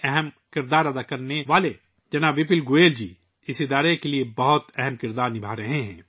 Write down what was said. شریمان وپل گوئل جی، جنہوں نے اس کی تشکیل میں اہم کردار ادا کیا ہے ، اس ادارے کے لئے بہت اہم رول ادا کر رہے ہیں